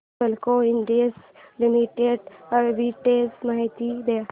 Hindalco industries limited arbitrage माहिती दे